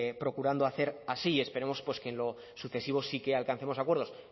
procurando hacer así y esperemos que en lo sucesivo sí que alcancemos acuerdos